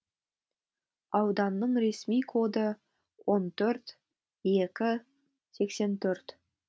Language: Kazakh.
ауданның ресми коды он төрт екі сексен төрт